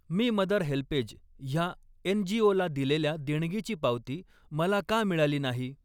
मी mother HelpAge ह्या एनजीओला दिलेल्या देणगीची पावती मला का मिळाली नाही?